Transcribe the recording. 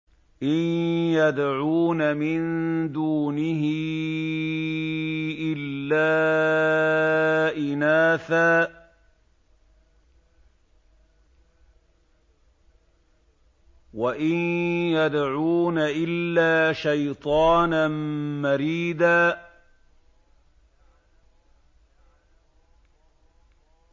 إِن يَدْعُونَ مِن دُونِهِ إِلَّا إِنَاثًا وَإِن يَدْعُونَ إِلَّا شَيْطَانًا مَّرِيدًا